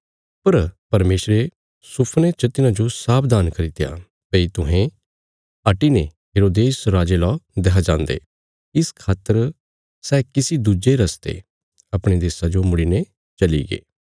पर परमेशरे सुफने च तिन्हांजो सावधान करित्या भई तुहें हटिने हेरोदेस राजे ला देक्खां जान्दे इस खातर सै किसी दुज्जे रस्ते अपणे देशा जो मुड़ीने चलीगे